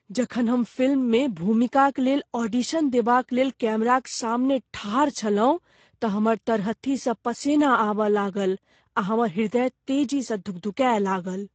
जखन हम फिल्ममे भूमिकाक लेल ऑडिशन देबाक लेल कैमराक सामने ठाड़ छलहुँ तऽ हमर तरहत्थी स पसेना आबय लागल आ हमर ह्रदय तेजीसँ धुकधुकाय लागल।